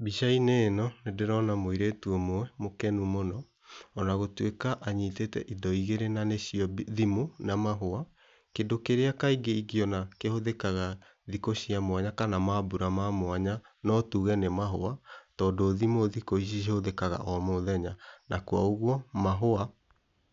Mbica-inĩ ĩno nĩndĩrona mũirĩtu ũmwe mũkenu mũno, ona gũtuĩka anyitĩte indo igĩrĩ na nĩcio thimũ na mahũa, kĩndũ kĩrĩa kaingĩ ĩngĩona kĩhũthĩkaga thikũ cia mwanya kana mambura ma mwanya no tuge nĩ mahũa, tondũ thimũ thiku ici cihũthĩkaga o mũthenya, na kwa ũguo mahũa